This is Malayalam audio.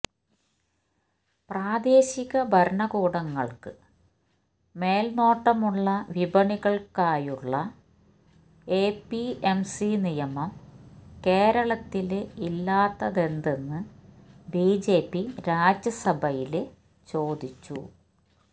പ്രാദേശിക ഭരണകൂടങ്ങള്ക്ക് മേല്നോട്ടമുള്ള വിപണികള്ക്കായുള്ള എപിഎംസി നിയമം കേരളത്തില് ഇല്ലാത്തതെന്തെന്ന് ബിജെപി രാജ്യസഭയില് ചോദിച്ചു